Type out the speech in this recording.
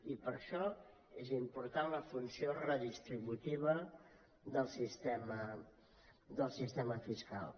i per això és important la funció redistributiva del sistema fiscal